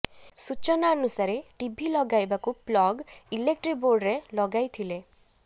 ସୂଚନା ଅନୁସାରେ ଟିଭି ଲଗାଇବାକୁ ପ୍ଲଗ୍ ଇଲେକ୍ଟ୍ରି ବୋର୍ଡରେ ଲଗାଇଥିଲେ